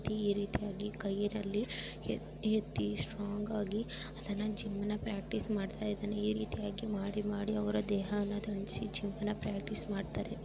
ಈ ರೀತಿಯಾಗಿ ಕೈನಲ್ಲಿ ಎತ್ತಿ-ಎತ್ತಿ ಸ್ಟ್ರಾಂಗ್ ಆಗಿ ಅದನ್ನ ಜಿಮ್ ನ ಪ್ರಾಕ್ಟೀಸ್ ಮಾಡ್ತಾ ಇದನೇ. ಈ ರೀತಿಯಲ್ಲಿ ಮಾಡಿ ಮಾಡಿ ಅವರ ದೇಹವನ್ನು ದಂಡಿಸಿ ಜಿಮ್ನಾ ಪ್ರಾಕ್ಟೀಸ್ ಮಾಡ್ತಾರೆ.